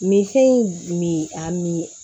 Minfɛn in min a mi